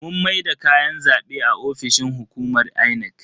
Mun maida kayan zabe a ofishin hukumar Inec.